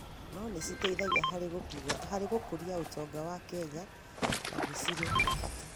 no nĩ citeithagia harĩ gũkũria ũtonga wa Kenya na nĩ cirĩ bata.